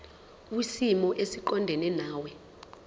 kwisimo esiqondena nawe